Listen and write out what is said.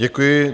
Děkuji.